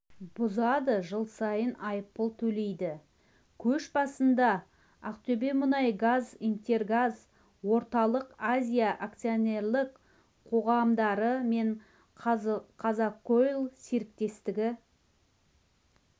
бұзады жыл сайын айыппұл төлейді көш басында ақтөбемұнайгаз интергаз-орталық азия акционерлік қоғамдары мен қазақойл серіктестігі